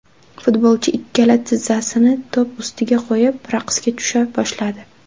Futbolchi ikkala tizzasini to‘p ustiga qo‘yib, raqsga tusha boshladi.